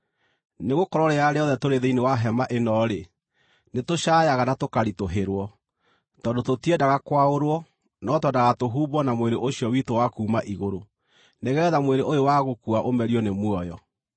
Nĩgũkorwo rĩrĩa rĩothe tũrĩ thĩinĩ wa hema ĩno-rĩ, nĩtũcaayaga na tũkaritũhĩrwo, tondũ tũtiendaga kwaũrwo, no twendaga tũhumbwo na mwĩrĩ ũcio witũ wa kuuma igũrũ, nĩgeetha mwĩrĩ ũyũ wa gũkua ũmerio nĩ muoyo.